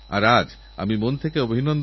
এটাই আমার আপনাদের কাছে প্রার্থনা